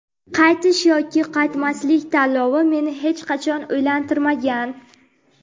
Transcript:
Qaytish yoki qaytmaslik tanlovi meni hech qachon o‘ylantirmagan.